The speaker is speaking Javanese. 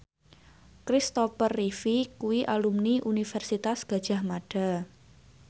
Kristopher Reeve kuwi alumni Universitas Gadjah Mada